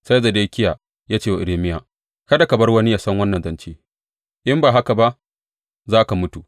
Sai Zedekiya ya ce wa Irmiya, Kada ka bar wani ya san wannan zance, in ba haka ba za ka mutu.